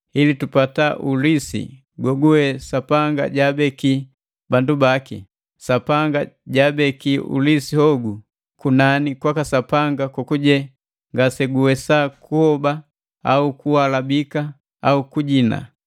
ili tupata ulisi gogugwe Sapanga jaabekila bandu baki. Sapanga jaabeki ulisi hogu kunani kwaka Sapanga kokujeni ngaseguwesa kubola au kuhalabika au kujina.